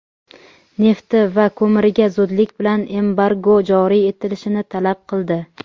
nefti va ko‘miriga zudlik bilan embargo joriy etilishini talab qildi.